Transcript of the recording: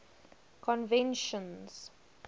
conventions